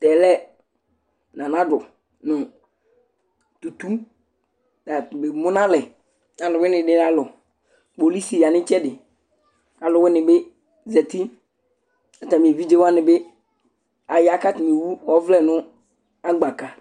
Tɛ lɛ nana ado nʋ tutu ta tu memu nalɛ nʋ alʋwɩnɩnɩ alɔ Kpolisi ya nʋ ɩtsɛdɩ Alʋwɩnɩ bɩ zati kʋ atamɩ evidze wanɩ bɩ aya kʋ atanɩ ewu ɔvlɛ nʋ agbata